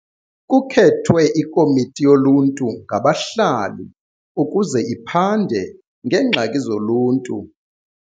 Kukhethwe ikomiti yoluntu ngabahlali ukuze iphande ngeengxaki zoluntu.